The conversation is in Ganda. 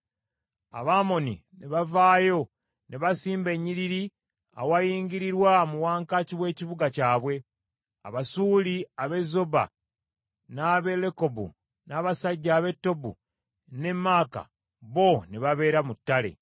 Abamoni ne bavaayo ne basimba ennyiriri awayingirirwa mu wankaaki w’ekibuga kyabwe, Abasuuli ab’e Zoba n’ab’e Lekobu, n’abasajja ab’e Tobu n’e Maaka bo ne babeera mu ttale.